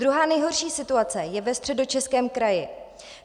Druhá nejhorší situace je ve Středočeském kraji.